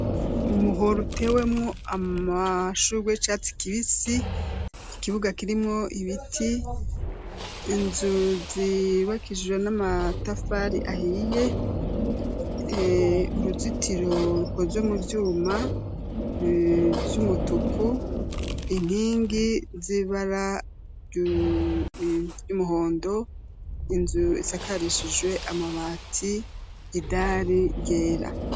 Umuhoro utewemwo amashurwe y'icatsi kibisi, ikibuga kirimwo ibiti, inzu zubakishijwe n'amatafari ahiye, uruzitiro rukozwe mu vyuma vy'umutuku, inkingi z'ibara ry'umuhondo, inzu isakarishijwe amabati, idari ryera.